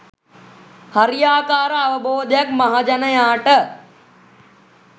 හරියාකාර අවබෝධයක් මහජනයාට